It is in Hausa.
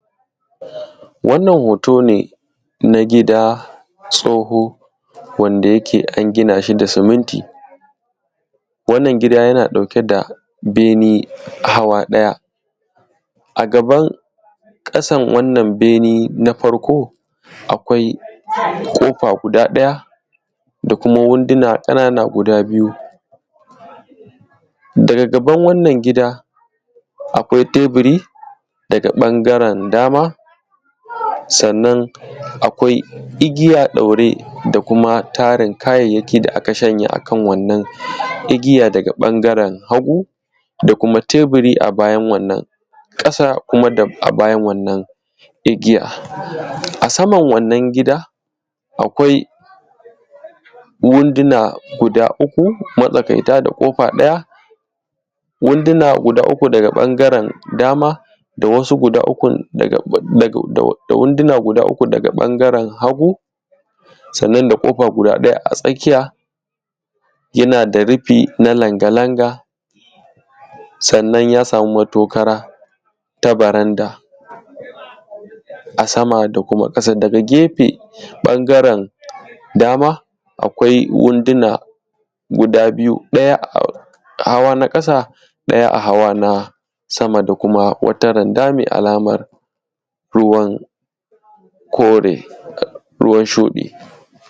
wannan hoto ne na gida tsoho wanda yake an gina shi da suminti wannan gida yana ɗauke da bene hawa ɗaya a gaban ƙasan wannan bene na farko akwai ƙofa guda ɗaya da kuma wunduna ƙanana guda biyu daga gaban wannan gida akwai teburi daga ɓangaren dama sannan akwai igiya ɗaure da kuma tarin kayayyaki da a ka shanya a kan wannan igiya daga ɓangaren hagu da kuma teburi a bayan wannan ƙasa da kuma a bayan wannan igiya a saman wannan gida akwai wunduna guda uku matsakaita da ƙofa ɗaya wunduna guda uku daga ɓangaren dama da wunduna guda uku daga ɓangaren hagu sannan da kofa guda ɗaya a tsakiya yana da rufi na langa langa sannan ya samu matokara ta baranda a sama da kuma ƙasa daga gefe ɓangaren dama akwai wunduna guda biyu ɗaya a hawa na ƙasa ɗaya a hawa na sama da kuma wata randa mai alaman ruwan kore ruwan shuɗi